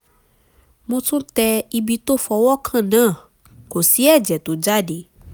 mo tún tẹ ibi tó fọwọ́ kàn náà kò sì ẹ̀jẹ̀ tó jáde